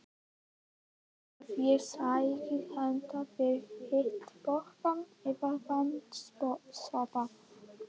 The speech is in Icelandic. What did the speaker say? Viltu að ég sæki handa þér hitapoka eða vatns- sopa?